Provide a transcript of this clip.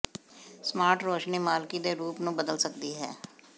smart ਰੋਸ਼ਨੀ ਮਾਲਕੀ ਦੇ ਰੂਪ ਨੂੰ ਬਦਲ ਸਕਦੀ ਹੈ